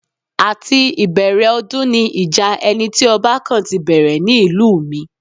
Àti ìbẹ̀rẹ̀ ọdún ni ìjà ẹni tí ọba kàn ti bẹ̀rẹ̀ ní ìlú mi